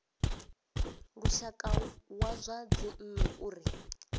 lushaka wa zwa dzinnu uri